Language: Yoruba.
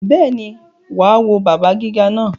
Bẹ́ẹ̀ni, wà á wọ bàbá gíga náà.